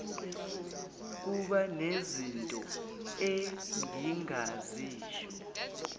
kuba nezinto engingazisho